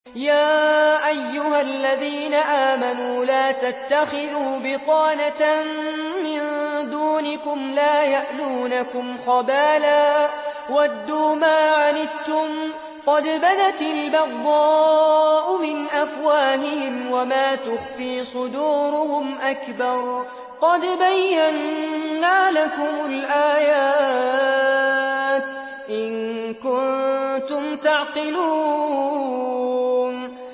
يَا أَيُّهَا الَّذِينَ آمَنُوا لَا تَتَّخِذُوا بِطَانَةً مِّن دُونِكُمْ لَا يَأْلُونَكُمْ خَبَالًا وَدُّوا مَا عَنِتُّمْ قَدْ بَدَتِ الْبَغْضَاءُ مِنْ أَفْوَاهِهِمْ وَمَا تُخْفِي صُدُورُهُمْ أَكْبَرُ ۚ قَدْ بَيَّنَّا لَكُمُ الْآيَاتِ ۖ إِن كُنتُمْ تَعْقِلُونَ